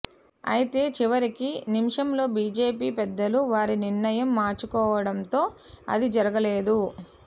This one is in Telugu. అయితే చివరికి నిమిషంలో బీజేపీ పెద్దలు వారి నిర్ణయం మార్చుకోవడంతో అది జరగలేదు